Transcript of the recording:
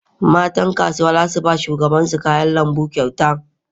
Matan kasuwa za su ba shugabansu kayan lambu kyauta.